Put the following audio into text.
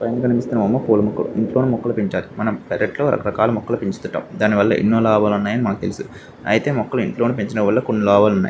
పైన కనిపిస్తున్న బొమ్మ పూల మొక్కలు ఇంట్లోనే మొక్కలు పెంచాలి. మనం పెరట్లో రకరకాల మొక్కలు పెంచతుంటాము. దానివల్ల ఎన్నో లాభాలు ఉన్నాయని అనాకు తెలుసు అయితే మొక్కలు ఇంట్లోనే పెంచటం వల్ల కొన్ని లాభాలున్నాయి.